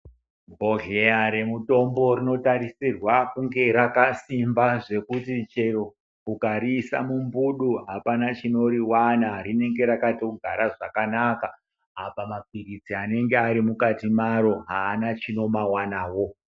Bhodleya rwmutombo rinotarisirwa kunge rakasimba zvejuti chero ukariisa mumbufu apana chinoriwana rinenge rakatogara zvakanaka apa mapiritsi anenga ari mukati maro haana chinomawanawo.